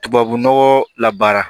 Tubabunɔgɔ la baara